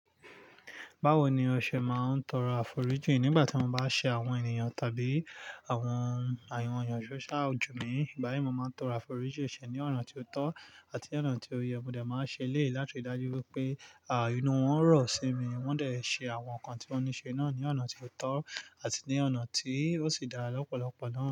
Báwo ni ọṣẹ máa ń tọrọ àforíjì nígbà tí mo bá ṣe àwọn ènìyàn tàbí àwọn èèyàn sóṣú ojú mi? Ìgbà yí, mo máa ń tọrọ àforíjì ṣẹ̀ ní ọ̀nà tí ó tọ́ àti ní ọ̀nà tí ó yẹ, mo dà máa ń ṣe léè láti dájú wípé, àì inú wọn rọ̀ sí mi, wọ́n dẹ̀ ṣe àwọn nǹkan tí wọ́n ní ṣe náà ní ọ̀nà tí ó tọ́ àti ní ọ̀nà tí ó sì dá lọ́pọ̀lọpọ̀ náà.